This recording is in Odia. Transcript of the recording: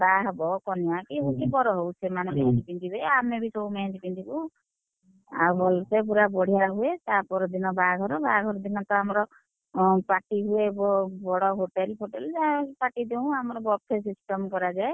~ହା ହବ କନିଆ କି ବର ହଉ ସେମାନେ ମେହେନ୍ଦୀ ପିନ୍ଧିବେ, ଆମେ ବି ସବୁ ମେହେନ୍ଦୀ ପିନ୍ଧିବୁ, ଆଉ ଭଲସେ ପୁରା ବଢିଆ ହୁଏ, ତା ପର ଦିନ ବାହାଘର ବାହାଘର ଦିନତ ଆମର, ଅଁ party ହୁଏ ବଡ hotel ଫୋଟେଲେ ଯାହା ଏମିତି party ଦିଅଉଁ, ଆମର buffet system କରାଯାଏ।